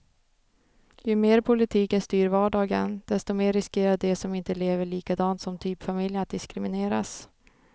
Ju mer politiken styr vardagen, desto mer riskerar de som inte lever likadant som typfamiljen att diskrimineras.